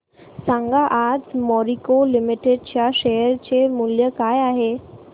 सांगा आज मॅरिको लिमिटेड च्या शेअर चे मूल्य काय आहे